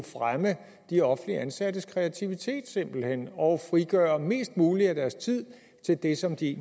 fremme de offentligt ansattes kreativitet simpelt hen og frigøre mest mulig af deres tid til det som de